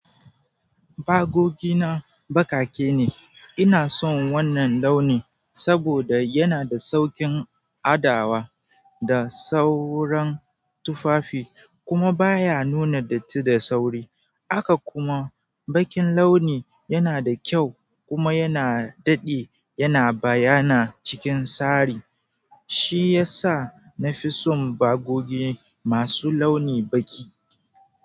Bagogi na bakake ne, ina son wannan launi saboda yana da sauƙin adawa da sauran tufafi kuma baya nuna datti da sauri. Haka kuma, bakin launi yana da kyau kuma yana daɗi yana bayyana cikin sari. Shi ya sa na fi son bagogi masu launi baki.